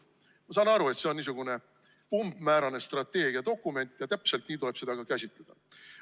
Ma saan aru, et see on niisugune umbmäärane strateegiadokument ja täpselt nii tuleb seda ka käsitleda.